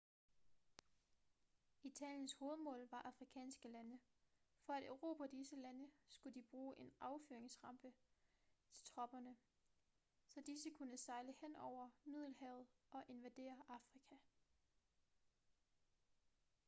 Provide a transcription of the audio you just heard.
italiens hovedmål var afrikanske lande for at erobre disse lande skulle de bruge en affyringsrampe til tropperne så disse kunne sejle henover middelhavet og invadere afrika